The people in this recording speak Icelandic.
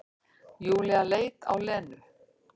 Júlía leit á Lenu.